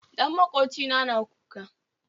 Ɗan makwocina na kuka